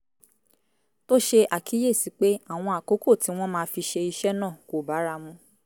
tó ṣe àkíyèsí pé àwọn àkókò tí wọ́n máa fi ṣe iṣẹ́ náà kò bára mu